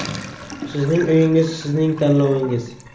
Sizning uyingiz sizning tanlovingiz!